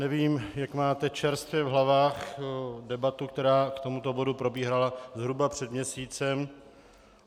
Nevím, jak máte čerstvě v hlavách debatu, která k tomuto bodu probíhala zhruba před měsícem.